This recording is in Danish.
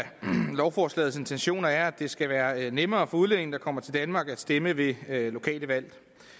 lovforslagets intentioner er at det skal være nemmere for udlændinge der kommer til danmark at stemme ved lokale valg